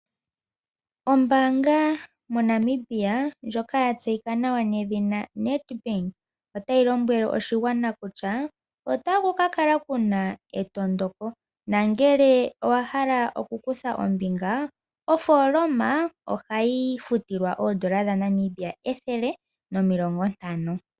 Ombaanga moNamibia ndjoka ya tseyika nawa nedhina NedBank, otayi lombwele oshigwana kutya otaku ka kala kuna etondoko nongele owa hala okukutha ombinga ofooloma ohayi futilwa oodola dhaNamibia ethele nomilongo ntano.